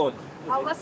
Yəni bilirsiz?